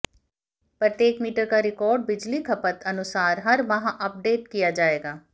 प्रत्येक मीटर का रिकार्ड बिजली खपत अनुसार हर माह अपडेट किया जाएगा